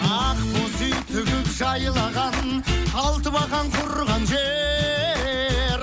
ақ боз үй тігіп жайлаған алты бақан құрған жер